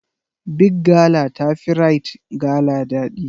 Big gala ta fi Rite gala ɗadi.